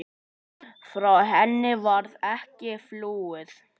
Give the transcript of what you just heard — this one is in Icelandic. Frá henni varð ekki flúið.